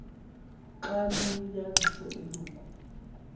xaba liyinyaniso eloku